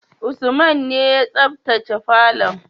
Usman ne ya sabtace falon.